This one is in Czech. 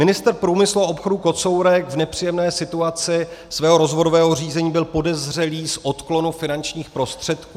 Ministr průmyslu a obchodu Kocourek v nepříjemné situaci svého rozvodového řízení byl podezřelý z odklonu finančních prostředků.